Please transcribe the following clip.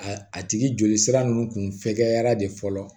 A a tigi joli sira ninnu kun fɛkɛyara de fɔlɔ